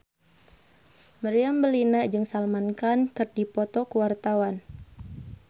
Meriam Bellina jeung Salman Khan keur dipoto ku wartawan